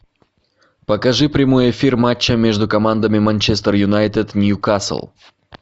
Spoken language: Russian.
покажи прямой эфир матча между командами манчестер юнайтед ньюкасл